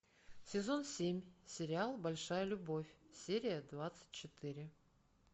сезон семь сериал большая любовь серия двадцать четыре